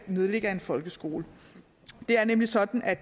nedlægge en folkeskole det er nemlig sådan at